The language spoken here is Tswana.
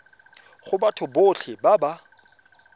go batho botlhe ba ba